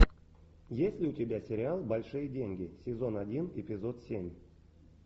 есть ли у тебя сериал большие деньги сезон один эпизод семь